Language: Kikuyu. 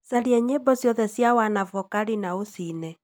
caria nyĩmbo ciothe cia wanavokali na ũciine